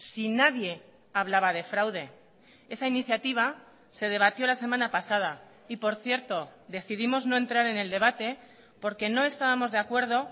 si nadie hablaba de fraude esa iniciativa se debatió la semana pasada y por cierto decidimos no entrar en el debate porque no estábamos de acuerdo